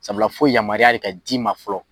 Sabula fo yamaruya de ka d'i ma fɔlɔ.